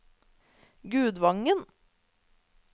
Gudvangen